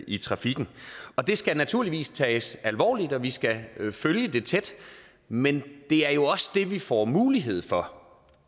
i trafikken og det skal naturligvis tages alvorligt og vi skal følge det tæt men det er jo også det vi får mulighed for